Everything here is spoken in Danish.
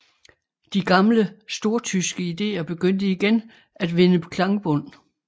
De gamle stortyske ideer begyndte igen at vinde klangbund